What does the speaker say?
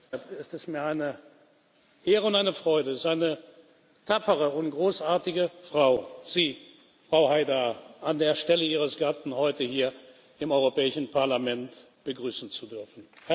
deshalb ist es mir eine Ehre und eine Freude, seine tapfere und großartige Frau Sie, Frau Ensaf Haidar an der Stelle Ihres Gatten heute hier im Europäischen Parlament begrüßen zu dürfen.